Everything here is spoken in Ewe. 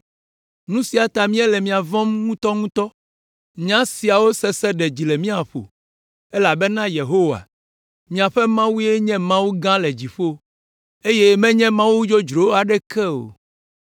Nu sia ta míele mia vɔ̃m ŋutɔŋutɔ! Nya siawo sese ɖe dzi le mía ƒo, elabena Yehowa, miaƒe Mawue nye Mawu gã le dziƒo, eye menye mawu dzodzro aɖeke o.